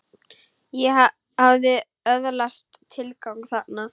Ég hafði öðlast tilgang þarna.